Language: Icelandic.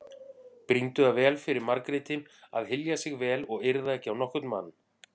Brýndu það fyrir Margréti að hylja sig vel og yrða ekki á nokkurn mann.